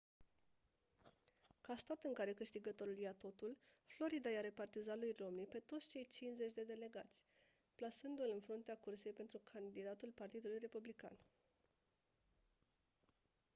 ca stat în care câștigătorul ia totul florida i-a repartizat lui romney pe toți cei cincizeci de delegați plasându-l în fruntea cursei pentru candidatul partidului republican